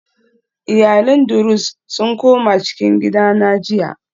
Iyalin druze sun koma cikin gida na jiya